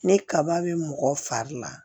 Ne kaba bɛ mɔgɔ fari la